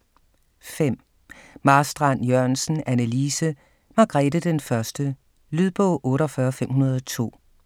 5. Marstrand-Jørgensen, Anne Lise: Margrete I Lydbog 48502